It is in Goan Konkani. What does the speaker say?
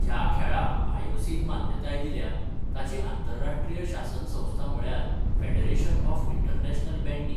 ह्या खेळाक आयओसीन मान्यताय दिल्या, ताची आंतरराश्ट्रीय शासन संस्था म्हळ्यार 'फेडरेशन ऑफ इंटरनॅशनल बॅंडी'.